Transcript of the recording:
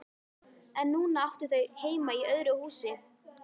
En núna áttu þau heima í öðru húsi.